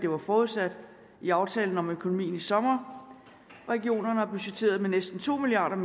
var forudsat i aftalen om økonomien fra i sommer regionerne har budgetteret med næsten to milliard